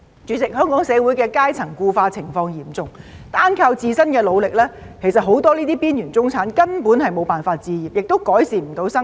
主席，香港社會階層固化情況嚴重，單靠自身的努力，很多邊緣中產根本無法置業，亦不能改善生活。